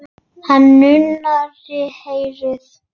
Hann nuddaði eyrað.